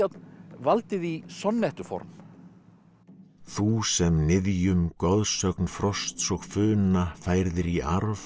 valdi því sonnettuform þú sem niðjum goðsögn frosts og funa færðir í arf